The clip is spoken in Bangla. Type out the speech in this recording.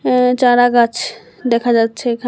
অ্যা চারাগাছ দেখা যাচ্ছে এখান--